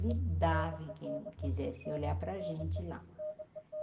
Ele dava em quem quisesse olhar para a gente lá.